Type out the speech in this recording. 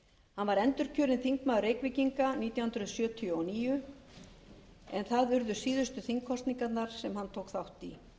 hann var endurkjörinn þingmaður reykvíkinga nítján hundruð sjötíu og níu en það urðu síðustu þingkosningarnar sem hann tók þátt í því að hann afsalaði sér